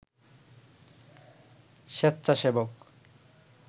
স্বেচ্ছাসেবক